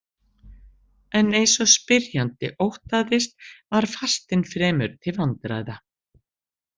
En eins og spyrjandi óttaðist var fastinn fremur til vandræða.